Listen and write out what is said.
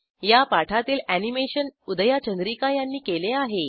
या पाठातील अॅनिमेशन उदया चंद्रिका यांनी केले आहे